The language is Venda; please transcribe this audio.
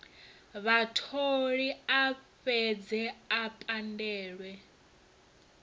vhatholi a fhedze o pandelwa